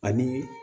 Ani